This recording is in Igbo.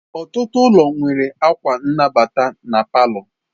Ọtụtụ ụlọ nwere akwa nnabata na palọ.